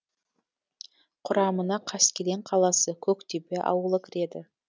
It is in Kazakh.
құрамына қаскелең қаласы көктөбе ауылы кіреді